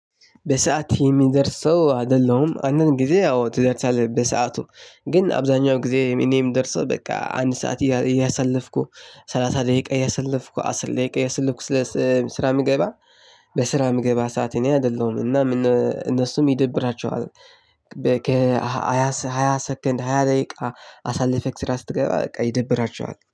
በሰአት የሚደርስ ሰው አደለሁም አንድን ጊዜ ያው ትደርሳለህ በሰአቱ ግን አብዛኛው ጊዜ እኔ እምደርሰው በቃ አንድ ሰዓት እያሳለፍኩ ሰላሳ ደቂቃ እያሳለፍኩ አስል ደቂቃ እያሳለፍኩ ስለ ስራ ምገባ በስራ የምገባ ሰዓት እኔ አይደለሁም እና ምን እነሱም ይደብራቸዋል። ከሃያ ሃያ ሰከንድ ሃያ ደቂቃ አሳልፌክ ስራ ስትገባ በቃ ይደብራቸዋል